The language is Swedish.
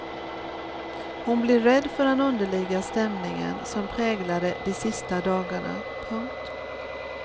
Hon blev rädd för den underliga stämningen som präglade de sista dagarna. punkt